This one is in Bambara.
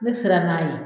Ne siranna n'a ye